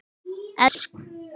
Elsku mamma er farin.